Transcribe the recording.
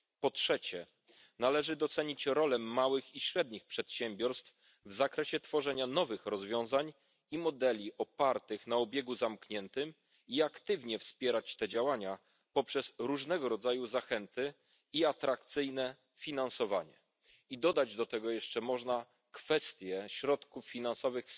Po trzecie, należy docenić rolę małych i średnich przedsiębiorstw w tworzeniu nowych rozwiązań i modeli opartych na obiegu zamkniętym i aktywnie wspierać te działania poprzez różnego rodzaju zachęty i atrakcyjne finansowanie. I dodać do tego jeszcze można kwestię środków finansowych